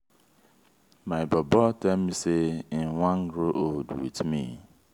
my bobo tell me sey im wan grow old wit me.